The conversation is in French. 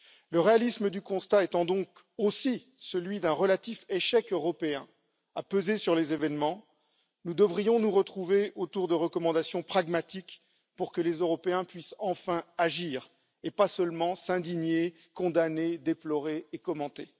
Le réalisme du constat étant donc aussi celui d'un relatif échec européen à peser sur les événements, nous devrions nous retrouver autour de recommandations pragmatiques pour que les Européens puissent enfin agir et pas seulement s'indigner, condamner, déplorer et commenter.